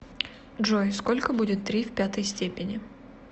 джой сколько будет три в пятой степени